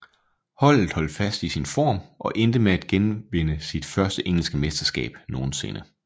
Holdet holdt fast i sin form og endte med at at vinde sit første engelske mesterskab nogensinde